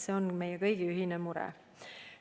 See on meie kõigi ühine mure.